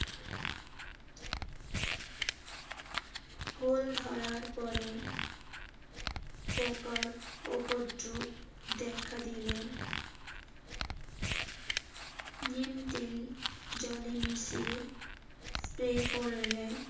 ফুল ধরার পরে পোকার উপদ্রব দেখা দিলে নিম তেল জলে মিশিয়ে স্প্রে করলে